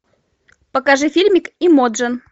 покажи фильмик эмоджи